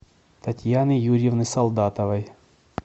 татьяны юрьевны солдатовой